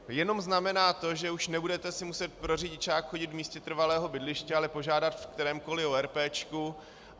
Jenom znamená to, že už nebudete si muset pro řidičák chodit v místě trvalého bydliště, ale požádat v kterémkoliv ORP.